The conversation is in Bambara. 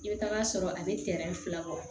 I bɛ taa sɔrɔ a bɛ fila bɔ